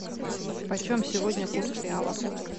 почем сегодня курс реала